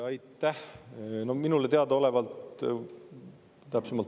Aitäh!